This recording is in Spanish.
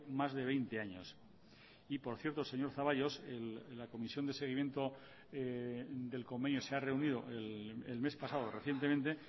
más de veinte años y por cierto señor zaballos la comisión de seguimiento del convenio se ha reunido el mes pasado recientemente